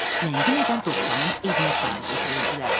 Ləngimədən Dovşanın evinə sarı götürüldülər.